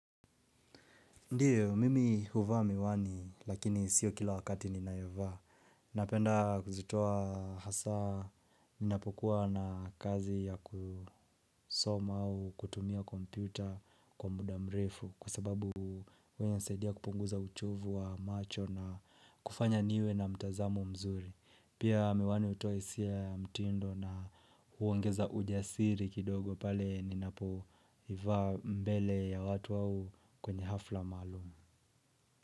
Ndiyo, mimi huvaa miwani, lakini sio kila wakati ninaevaa. Napenda kuzitoa hasa, ninapokuwa na kazi ya kusoma au kutumia kompyuta kwa muda mrefu kua sababu uenye nsaidia kupunguza uchovu wa macho na kufanya niwe na mtazamo mzuri. Pia miwani utoa isia ya mtindo na huongeza ujasiri kidogo pale ninapo iva mbele ya watu au kwenye hafla malumu.